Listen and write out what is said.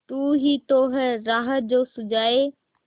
तू ही तो है राह जो सुझाए